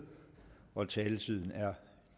taletiden er